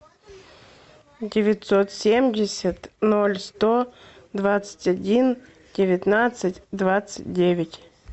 девятьсот семьдесят ноль сто двадцать один девятнадцать двадцать девять